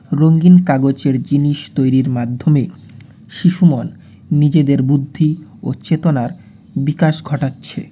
রঙ্গিন কাগজের জিনিস তৈরির মাধ্যমে শিশু মন নিজেদের বুদ্ধি ও চেতনার বিকাশ ঘটাচ্ছে।